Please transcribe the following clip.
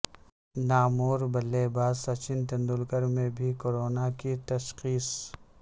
نامور بلے باز سچن تندولکر میں بھی کورونا کی تشخیص